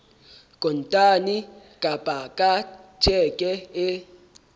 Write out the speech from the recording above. kontane kapa ka tjheke e